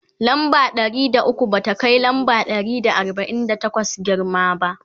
lamba Ɗari da ukwu ba ta Kai lamba Ɗari da arbain da takwas girma ba